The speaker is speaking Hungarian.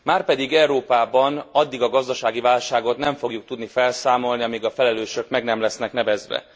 Márpedig Európában addig a gazdasági válságot nem fogjuk tudni felszámolni, amíg a felelősök meg nem lesznek nevezve.